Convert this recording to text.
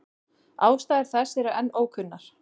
Ástæður þess eru enn ókunnar.